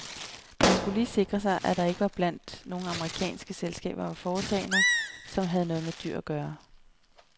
Man skulle lige sikre sig, at der ikke blandt nogle amerikanske selskaber var foretagender, som havde med dyr at gøre.